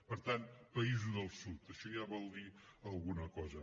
per tant països del sud això ja vol dir alguna cosa